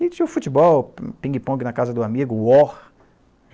E tinha o futebol, pingue-pongue na casa do amigo, o War.